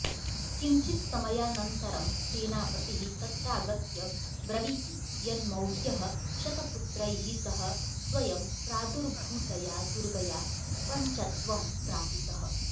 किञ्चित्समयानन्तरं सेनापतिः तत्रागत्य ब्रवीति यन्मौर्यः शतपुत्रैः सह स्वयं प्रादुर्भूतया दुर्गया पञ्चत्वं प्रापितः